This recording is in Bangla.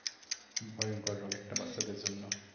ভয়ংকর রোগ একটা বাচ্চাদের জন্য।